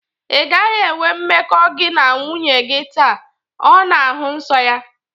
Ị gaghị enwe mmekọ gị na nwunye gi taa! Ọ na-ahụ nsọ ya